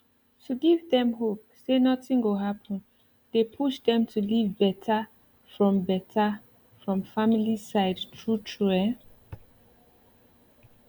to give dem hope say nothing go happen dey push dem to live better from better from family side true true ehn